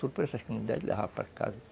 Tudo por essa ideia de levar para casa.